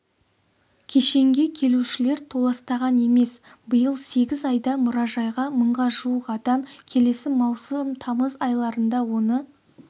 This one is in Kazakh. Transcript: кешенге келушілер толастаған емес биыл сегіз айда мұражайға мыңға жуық адам келсе маусым-тамыз айларында оны